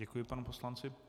Děkuji panu poslanci.